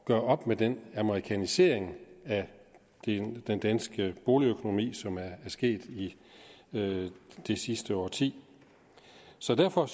gøre op med den amerikanisering af den danske boligøkonomi som er sket det sidste årti så derfor